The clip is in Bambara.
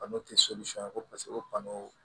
Bana o tɛ ko paseke ko banaw